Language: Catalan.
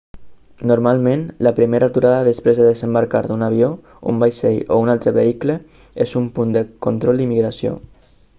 normalment la primera aturada després de desembarcar d'un avió un vaixell o un altre vehicle és un punt de control d'immigració